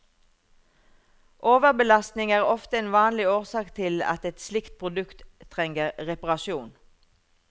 Overbelastning er ofte en vanlig årsak til at et slikt produkt trenger reparasjon.